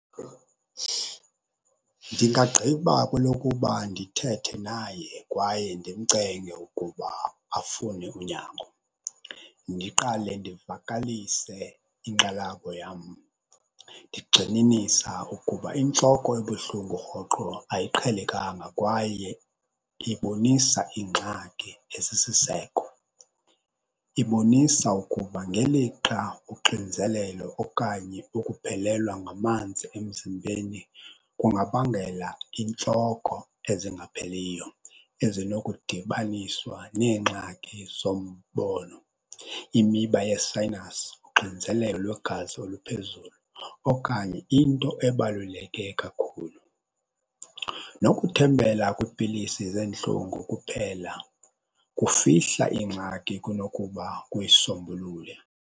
Ndingagqiba kwelokuba ndithethe naye kwaye ndimcenge ukuba afune unyango. Ndiqale ndivakalise inkxalabo yam ndigxininisa ukuba intloko ebuhlungu rhoqo ayiqhelekanga kwaye ibonisa ingxaki esisiseko. Ibonisa ukuba ngelixa uxinzelelo okanye ukuphelelwa ngamanzi emzimbeni kungabangela intloko ezingapheliyo ezinokudibaniswa neengxaki zoombono, imiba yesayinasi, uxinzelelo lwegazi oluphezulu okanye into ebaluleke kakhulu. Nokuthembela kwiipilisi zentlungu kuphela kufihla ingxaki kunokuba kuyisombulule.